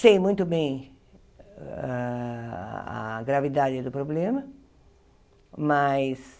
Sei muito bem a gravidade do problema, mas